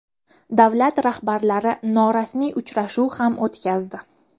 Davlat rahbarlari norasmiy uchrashuv ham o‘tkazdi .